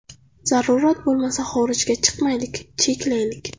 Zarurat bo‘lmasa, xorijga chiqmaylik, cheklaylik.